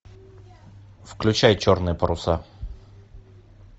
включай черные паруса